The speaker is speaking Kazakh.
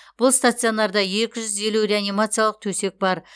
бұл стационарда екі жүз елу реанимациялық төсек бар